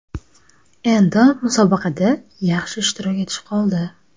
Endi musobaqada yaxshi ishtirok etish qoldi.